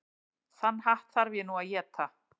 Þann hatt þarf ég nú að éta.